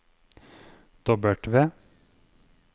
W